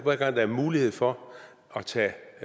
er en mulighed for at tage